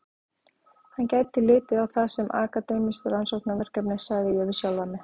Hann gæti litið á það sem akademískt rannsóknarverkefni, sagði ég við sjálfan mig.